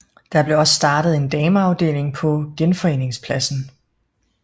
Der blev også startet en dameafdeling på Genforeningspladsen